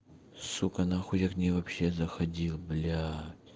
сука на хуй я в нее вообще заходил блять